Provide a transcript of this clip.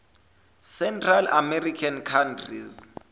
central american countries